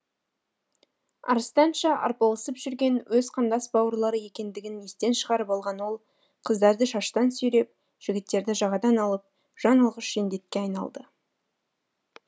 арыстанша арпалысып жүрген өз қандас бауырлары екендігін естен шығарып алған ол қыздарды шаштан сүйреп жігіттерді жағадан алып жан алғыш жендетке айналды